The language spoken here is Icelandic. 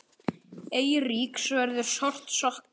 Eiríks verður sárt saknað.